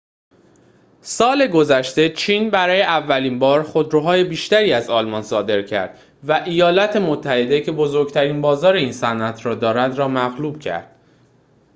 سال گذشته چین برای اولین بار خودروهای بیشتری از آلمان صادر کرد و ایالات متحده که بزرگترین بازار این صنعت را دارد را مغلوب کرد